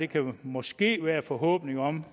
kan måske være en forhåbning om